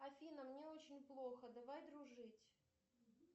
афина мне очень плохо давай дружить